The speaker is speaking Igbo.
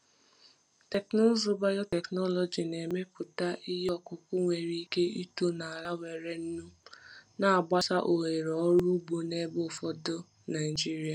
Teknụzụ biotechnology na-emepụta ihe ọkụkụ nwere ike ito n’ala nwere nnu, na-agbasa ohere ọrụ ugbo n’ebe ụfọdụ Naijiria.